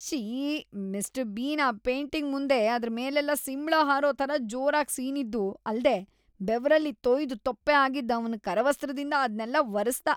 ‌ಶ್ಶೀ.. Mister Bean ಆ painting ಮುಂದೆ ಅದ್ರ ಮೇಲೆಲ್ಲ ಸಿಂಬ್ಳ ಹಾರೋ ಥರ ಜೋರಾಗಿ ಸೀನಿದ್ದೂ ಅಲ್ದೇ ಬೆವರಲ್ಲಿ ತೊಯ್ದು ತೊಪ್ಪೆ ಆಗಿದ್ದ ಅವ್ನ್ ಕರವಸ್ತ್ರದಿಂದ ಅದ್ನೆಲ್ಲ ಒರೆಸ್ದ.